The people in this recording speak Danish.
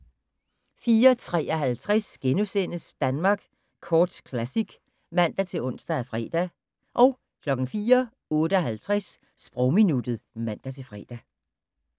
04:53: Danmark Kort Classic *(man-ons og fre) 04:58: Sprogminuttet (man-fre)